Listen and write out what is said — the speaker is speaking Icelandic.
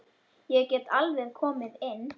Ég get alveg komið inn.